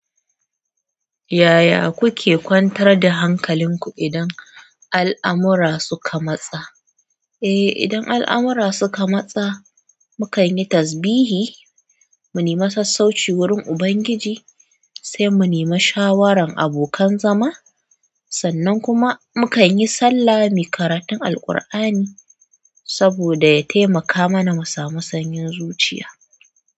Yaya kuke kwantar da hankalinku idan al'amura suka matsa? Eh, idan al'amura suka matsa, mukanyi tasbihi, mu nemi sassauci wurin Ubangiji, saimu nemi shawaran abokan zama. Sannan kuma mu kanyi sallah, muyi karatun Alkur'ani saboda ya taimaka mana musamu sanyin zuciya.